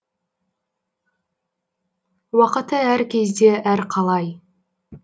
уақыты әр кезде әр қалай